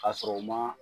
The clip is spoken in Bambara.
Ka sɔrɔ u ma